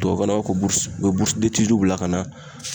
Tubabukan na u b'a fɔ ko u bɛ bila ka na.